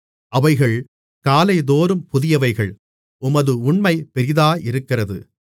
அவைகள் காலைதோறும் புதியவைகள் உமது உண்மை பெரிதாயிருக்கிறது